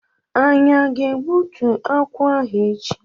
Anyị aga egbútú akwụ ahụ echi?